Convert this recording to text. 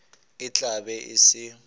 e tla be e se